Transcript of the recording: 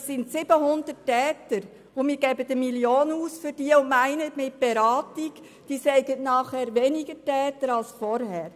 Es sind 700 Täter, und wir geben 1 Mio. Franken für sie aus und meinen, mit Beratung seien es nachher weniger Täter als vorher.